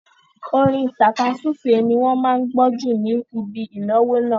Orin tàkasúfèé ni wọ́n máa gbó jù ní ibi ìnáwó náà.